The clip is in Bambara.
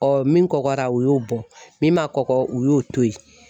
Ɔ min kɔgɔra o y'o bɔ, min ma kɔkɔ u y'o to ye.